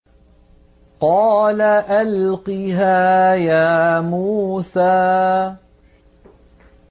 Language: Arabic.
قَالَ أَلْقِهَا يَا مُوسَىٰ